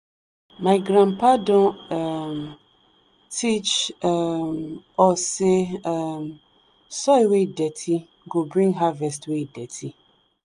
my grandpa don um teach um us say um soil wey dirty go bring harvest wey dirty.